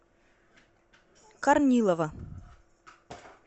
корнилова